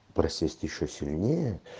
просесть ещё сильнее